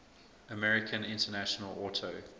american international auto